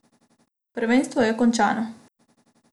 Prvenstvo je končano.